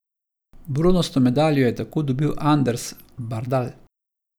Bronasto medaljo je tako dobil Anders Bardal.